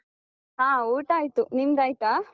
ಹಾ, ಊಟ ಆಯ್ತು. ನಿಮ್ದಾಯ್ತಾ?